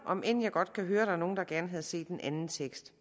om end jeg godt kan høre at der er nogle der gerne havde set en anden tekst